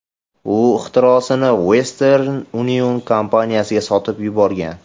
U ixtirosini Western Union kompaniyasiga sotib yuborgan.